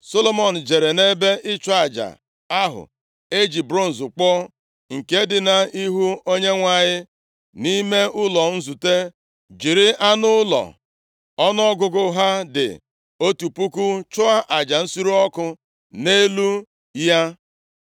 Solomọn jere nʼebe ịchụ aja ahụ e ji bronz kpụọ, nke dị nʼihu Onyenwe anyị, nʼime ụlọ nzute, jiri anụ ụlọ ọnụọgụgụ ha dị otu puku chụọ aja nsure ọkụ nʼelu ya.